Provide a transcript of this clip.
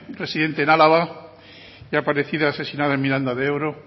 residente en álava y aparecida asesinada en miranda de ebro